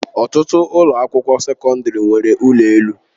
Ọtụtụ ụlọ akwụkwọ sekọndrị nwere ụlọ elu.